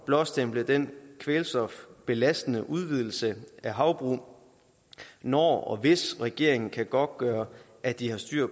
blåstemple den kvælstofbelastende udvidelse af havbrug når og hvis regeringen kan godtgøre at de har styr